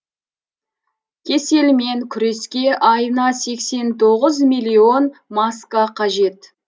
кеселмен күреске айына сексен тоғыз миллион маска қажет